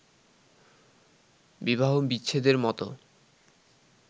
বিবাহবিচ্ছেদের মত